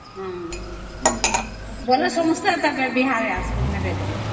ଅମ୍ ବେଲେ ସମସ୍ତେ ବିହା ରେ ଆସିବା marriage ରେ